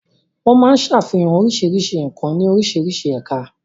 Wọ́n máa ń ṣàfihàn oríṣiríṣi nǹkan ní oríṣiríṣi ẹ̀ka.